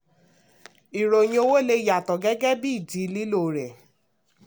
ìròyìn owó lè yàtọ̀ gẹ́gẹ́ bí ìdí lílo rẹ̀.